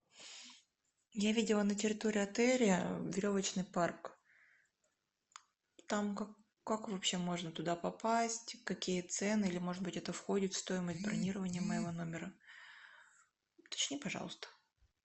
я видела на территории отеля веревочный парк там как вообще можно туда попасть какие цены или может быть это входит в стоимость бронирования моего номера уточни пожалуйста